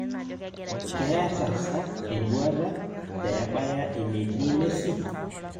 Keeta sa enduata pebaya enetii Messi